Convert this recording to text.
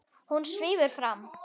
Hún svífur fram.